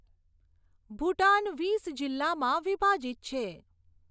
ભૂટાન વીસ જિલ્લામાં વિભાજિત છે.